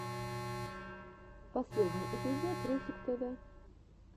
последний эпизод русик тв